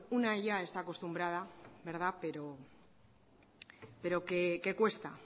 una ya está acostumbrada pero que cuesta